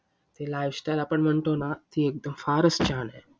ते Life style आपण म्हणतो ना फारच छान आहे.